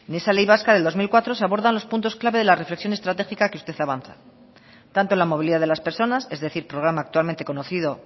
en esa ley vasca del dos mil cuatro se abordan los puntos clave de la reflexión estratégica que usted avanza tanto la movilidad de las personas es decir programa actualmente conocido